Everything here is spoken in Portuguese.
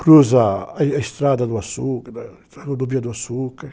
Cruza a, a estrada do açúcar, a, a rodovia do açúcar.